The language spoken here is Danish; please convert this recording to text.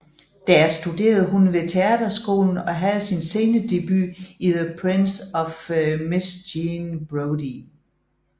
Der studerede hun ved teaterskolen og havde sin scenedebut i The Prime of Miss Jean Brodie